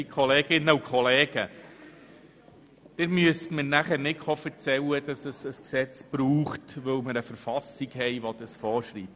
Sie werden mir in der anschliessenden Debatte nicht erzählen müssen, es brauche ein Gesetz, weil die Verfassung dies vorschreibe.